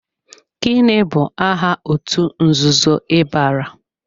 Gịnị bụ aha otú nzuzo ị bara?